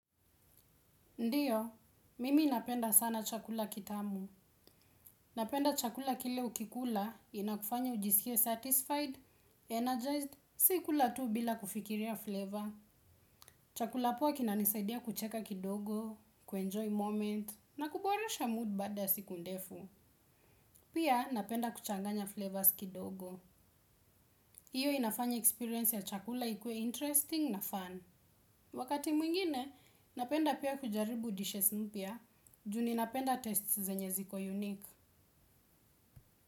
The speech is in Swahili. Ndiyo, mimi napenda sana chakula kitamu. Napenda chakula kile ukikula inakufanya ujisikie satisfied, energized, sikula tu bila kufikiria flavor. Chakula poa kinanisaidia kucheka kidogo, kuenjoy moment, na kuboresha mood baada ya siku ndefu. Pia, napenda kuchanganya flavors kidogo. Hiyo inafanya experience ya chakula ikue interesting na fun. Wakati mwingine, napenda pia kujaribu dishes mpya, juni napenda tastes zenye ziko unique.